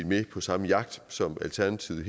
med på samme jagt som alternativet